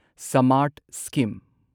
Samarth scheme